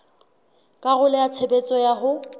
karolo ya tshebetso ya ho